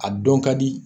A dɔn ka di